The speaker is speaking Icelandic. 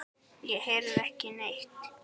Ég heyrði ekki neitt.